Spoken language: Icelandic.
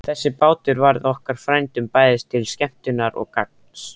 Þessi bátur varð okkur frændum bæði til skemmtunar og gagns.